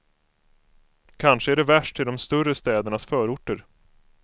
Kanske är det värst i de större städernas förorter.